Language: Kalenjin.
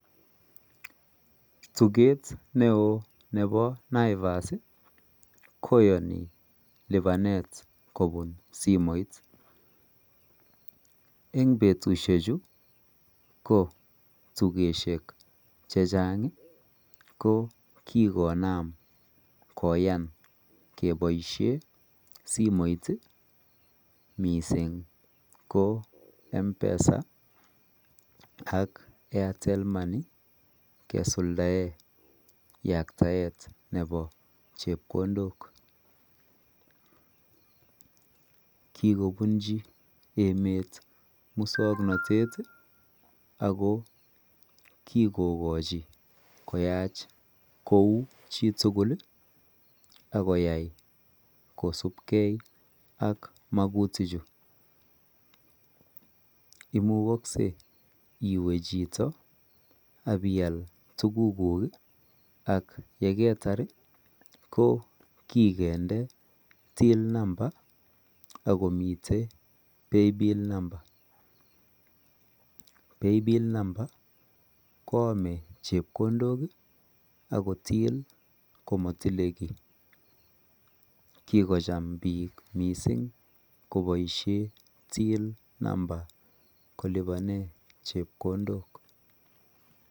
Tugeet ne oo nebo naivas koyanii lupaneet kobuun simoit eng betusiek chuu ko tugesiek che chaang ko kikonaam koyaan kebaisheen simoit ii missing ko mpesa ak Airtel [money] kesuldaen yaktaek nebo chepkondook kikobunjii emeet musangnatet ii ako kikogochii koyaach kou chii tugul akoyai kosupkei magutiik chuu imukaksei iweeh chitoo ak ibiyaal ko kikende [till number] ago miten [pay bill number] [pay bill number] koyame chepkondook akotien komatile kiy kikochaam biik missing kobaisheen [till number] kolupanen chepkondook.